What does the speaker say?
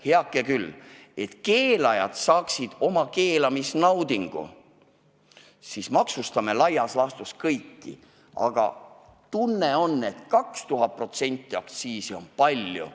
Heake küll, et keelajad saaksid oma keelamisnaudingu, siis maksustame laias laastus kõik, aga tundub, et 2000%-line aktsiis on palju.